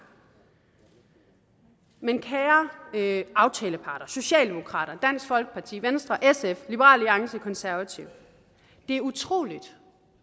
men kære aftaleparter socialdemokraterne dansk folkeparti venstre sf liberal alliance og konservative det er utroligt